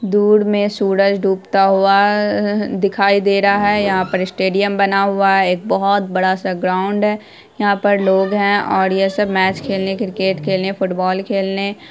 दूर में सूरज डूबता हुआ दिखाई दे रहा है यहाँ पर एक बड़ा सा स्टेडियम बना हुआ है एक बहुत बड़ा सा ग्राउंड है यहाँ पर लोग हैं और ये सब मैच खेलने क्रिकेट खेलने फुटबॉल खेलने --